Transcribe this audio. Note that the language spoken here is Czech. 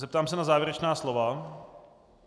Zeptám se na závěrečná slova.